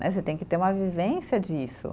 Né, você tem que ter uma vivência disso.